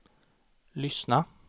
lyssna